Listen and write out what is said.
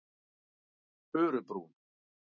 Furubrún